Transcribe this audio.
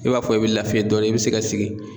E b'a fɔ e be lafiya dɔɔnin e be se ka sigi